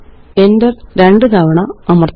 enter രണ്ട് തവണ അമര്ത്തുക